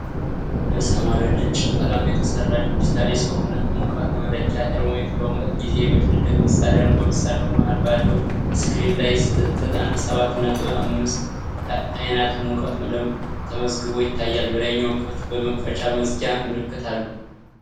በሰማያዊና ነጭ ቀለም የተሠራ ዲጂታል የሰውነት ሙቀት መለኪያ (ቴርሞሜትር) በሙቀት ጊዜ የሚፈለግ መሣሪያ ነው። በመሣሪያው መሃል ባለው ስክሪን ላይ ዘጠና ሰባት ነጥብ አምስት ፋራናይት ሙቀት ተመዝግቦ ይታያል፤ በላይኛው ክፍል የመክፈቻ/መዝጊያ ምልክት አለ።